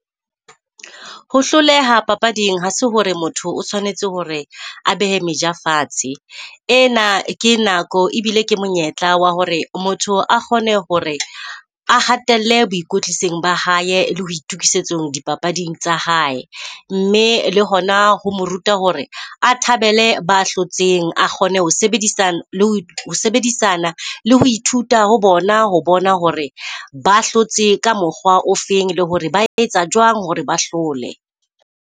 Ho hloleha papading ha se hore motho o tshwanetse hore a behe meja fatshe. E na ke nako ebile ke monyetla wa hore motho a kgone hore a hatelle boikwetlisong ba hae le ho itokisetsong dipapading tsa hae. Mme le hona ho mo ruta hore a thabele ba hlotseng, a kgone ho sebedisana le ho ithuta ho bona ho bona hore ba hlotse ka mokgwa o feng le hore ba etsa jwang hore ba hlole.